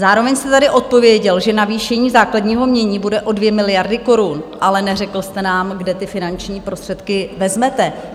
Zároveň jste tady odpověděl, že navýšení základního jmění bude o 2 miliardy korun, ale neřekl jste nám, kde ty finanční prostředky vezmete.